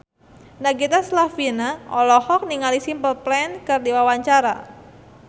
Nagita Slavina olohok ningali Simple Plan keur diwawancara